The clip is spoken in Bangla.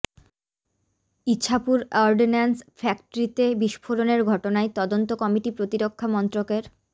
ইছাপুর অর্ডন্যান্স ফ্যাক্টরিতে বিস্ফোরণের ঘটনায় তদন্ত কমিটি প্রতিরক্ষা মন্ত্রকের